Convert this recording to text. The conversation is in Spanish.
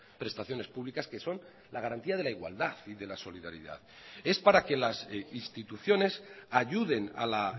prestaciones públicas que son la garantía de la igualdad y de la solidaridad es para que las instituciones ayuden a la